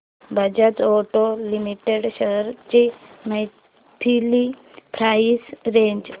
Bajaj auto limited shares ची monthly price range